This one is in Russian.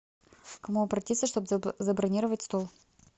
к кому обратиться чтобы забронировать стол